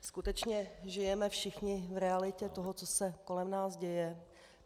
Skutečně žijeme všichni v realitě toho, co se kolem nás děje.